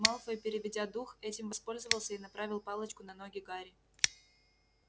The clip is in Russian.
малфой переведя дух этим воспользовался и направил палочку на ноги гарри